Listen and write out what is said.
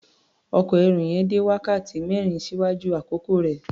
Ọkọ̀ ẹrù yẹn dé wákàtí mẹ́rin ṣíwájú àkókò rẹ̀.